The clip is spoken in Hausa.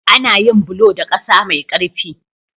Ana yin bulo da ƙasa mai ƙarfi.